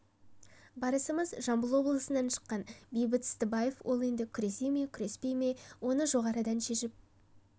барысымыз жамбыл облысынан шыққан бейбіт ыстыбаев ол енді күресе ме күреспей ме оны жоғарыдан шешіп